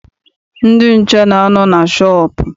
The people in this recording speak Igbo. Ndị nche na-anọ na shọọpụ.